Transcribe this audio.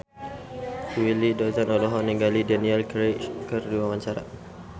Willy Dozan olohok ningali Daniel Craig keur diwawancara